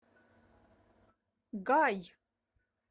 гай